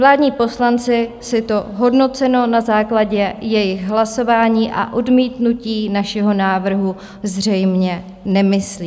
Vládní poslanci si to, hodnoceno na základě jejich hlasování a odmítnutí našeho návrhu, zřejmě nemyslí.